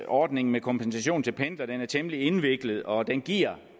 ordningen med kompensation til pendlere den er temmelig indviklet og den giver